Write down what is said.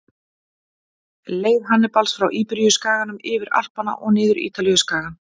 Leið Hannibals frá Íberíuskaganum, yfir Alpana og niður Ítalíuskagann.